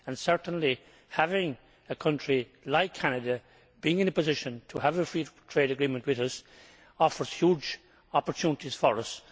Certainly, having a country like Canada in a position to have a free trade agreement with us offers huge opportunities for us.